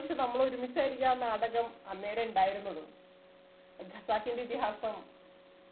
ഒരുപക്ഷെ ഒരുമിച്ചായിരിക്കും ആ നാടകം അന്നേരം ഇണ്ടായിരുന്നതും ഖസാക്കിന്റെ ഇതിഹാസം